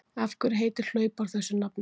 Af hverju heitir hlaupár þessu nafni?